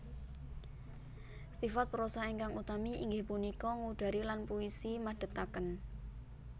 Sifat prosa ingkang utami inggih punika ngudari lan puisi madhetaken